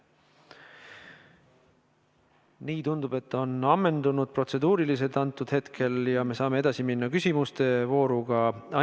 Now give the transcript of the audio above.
Nii, tundub, et protseduurilised küsimused on praeguseks hetkeks ammendunud ja me saame edasi minna küsimuste vooruga.